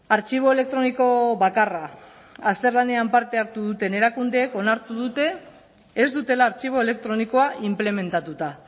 artxibo elektroniko bakarra azterlanean parte hartu duten erakundeek onartu dute ez dutela artxibo elektronikoa inplementatuta